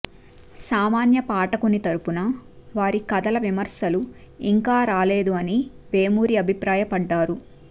సామాన్య పాఠకుని తరఫున వారి కథల విమర్శలు ఇంకా రాలేదు అని వేలూరి అభిప్రాయపడ్డారు